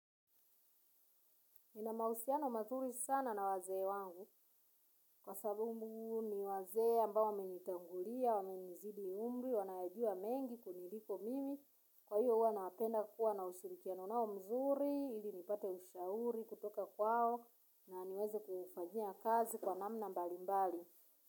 Nina mahusiano mazuri sana na wazee wangu kwa sababu ni wazee ambao wamenitangulia, wamenizidi umri, wanayajua mengi kuniliko mimi. Kwa hiyo huwa nawapenda kuwa na ushirikiano nao mzuri, ili nipate ushauri kutoka kwao na niweze kufanyia kazi kwa namna mbali mbali.